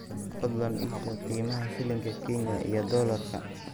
fadlan ii sheeg qiimaha shilinka kenya iyo doolarka